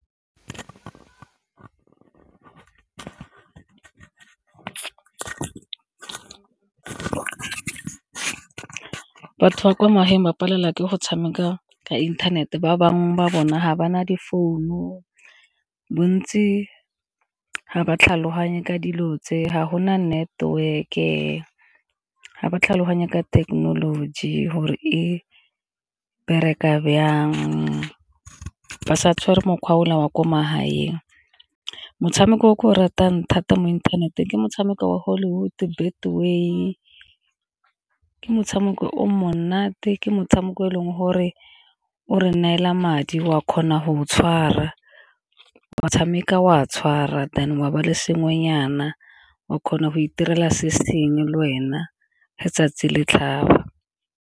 Batho ba kwa magaeng ba palelwa ke go tshameka ka inthanete ba bangwe ba bona ga ba na di-phone-u, bontsi ga ba tlhaloganye ka dilo tse ga gona network-e ga ba tlhaloganye ka thekenoloji gore e bereka bjang, ba sa tshwere mokgwa o la wa kwa magaeng. Motshameko o ke o ratang thata mo inthaneteng ke motshameko wa Hollywood, Betway ke motshameko o monate ke motshameko e leng gore o re neela madi wa kgona go tshwara, wa tshameka wa tshwara then wa ba le sengwenyana wa kgona go itirela se sengwe le wena letsatsi le tlhaba.